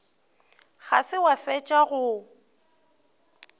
ga se wa fetša go